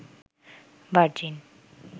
virgin